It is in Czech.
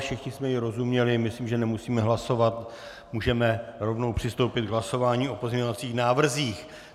Všichni jsme jí rozuměli, myslím, že nemusíme hlasovat, můžeme rovnou přistoupit k hlasování o pozměňovacích návrzích.